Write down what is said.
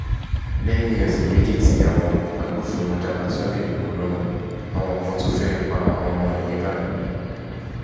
lẹ́yìn ọ̀sẹ̀ méjì tí àwọn agbófinró dá sunday igbodò lọ́nà àwọn kan tún fẹ́ẹ́ pa àwọn ọmọ ẹ̀ nígbàdàn